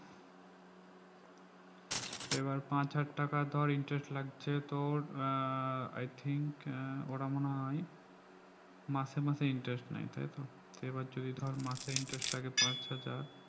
সেই বার পাঁচ হাজার টাকা ধর interest লাগছে তোর আহ i think আহ ওরা মনে হয় মাসে মাসে interest নেই তাই তো এবার যদি ধর মাসে interest লাগে পাঁচহাজার